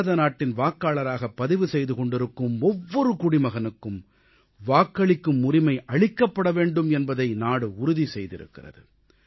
பாரதநாட்டின் வாக்காளராகப் பதிவு செய்து கொண்டிருக்கும் ஒவ்வொரு குடிமகனுக்கும் வாக்களிக்கும் உரிமை அளிக்கப்பட வேண்டும் என்பதை நாடு உறுதி செய்திருக்கிறது